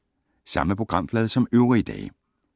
Samme programflade som øvrige dage